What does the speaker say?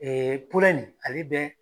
nin ale dɛn